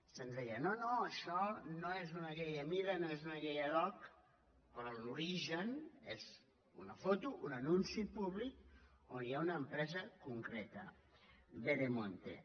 se’ns deia no no això no és una llei a mida no és una llei ad hoc però l’origen és una foto un anunci públic on hi ha una empresa concreta veremonte